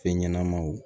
Fɛn ɲɛnɛmaw